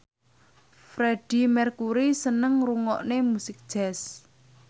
Freedie Mercury seneng ngrungokne musik jazz